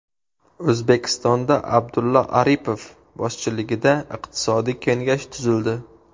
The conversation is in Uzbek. O‘zbekistonda Abdulla Aripov boshchiligida iqtisodiy kengash tuzildi.